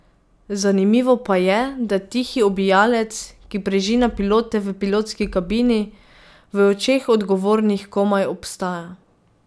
Zanimivo pa je, da tihi ubijalec, ki preži na pilote v pilotski kabini, v očeh odgovornih komaj obstaja.